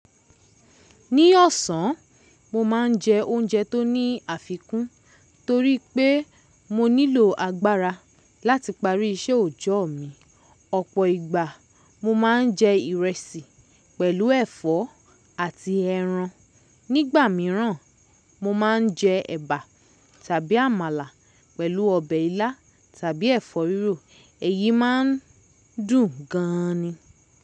Ní ọ̀sán, mo má n jẹ oúnjẹ tó ní àfikún toríi pé mo nílò agbára láti parí iṣẹ́ òòjọ́ mi. Ọ̀pọ̀ ìgbà mo má n jẹ ìrẹsì pẹ̀lú ẹ̀fọ́ àti ẹran. Nígbà míràn, mo má n jẹ ẹ̀bà tàbí àmàlà pẹ̀lú ọbẹ̀ ilá tàbí ẹ̀fọ́ rírò. Èyí má n dùn gan-an ni.